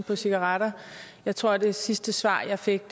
på cigaretter jeg tror det sidste svar jeg fik